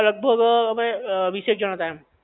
લગભગ અમે વીસેક જણ હતા અમે